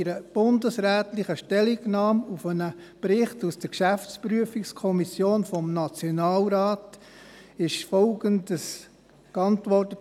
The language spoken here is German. In einer bundesrätlichen Stellungnahme zu einem Bericht aus der Geschäftsprüfungskommission des Nationalrates (GPK-N) wurde Folgendes geantwortet.